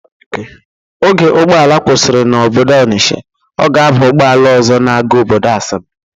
Oge ụgbọala kwụsịrị n'obodo Ọnisha, ọ ga-aba ụgbọala ọzọ na-aga obodo Asaba.